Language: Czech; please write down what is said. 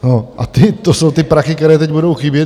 A to jsou ty prachy, které teď budou chybět!